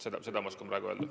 Seda oskan ma praegu öelda.